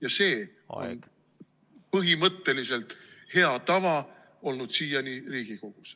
Ja see on põhimõtteliselt olnud siiani hea tava Riigikogus.